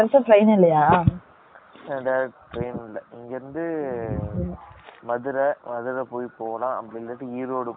Direct , train இல்லை. இங்க இருந்து, மதுரை, மதுரை போய் போகலாம். அப்படி இல்லாட்டி, ஈரோடு போய், அங்கிருந்து train மாரி போலாம்